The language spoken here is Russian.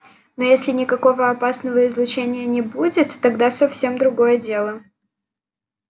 но если никакого опасного излучения не будет тогда совсем другое дело